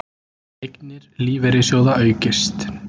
Eignir lífeyrissjóða aukist